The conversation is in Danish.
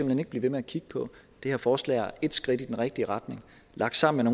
hen ikke blive ved med at kigge på det her forslag er et skridt i den rigtige retning og lagt sammen